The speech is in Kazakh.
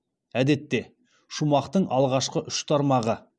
әдетте шумақтың алғашқы үш тармағы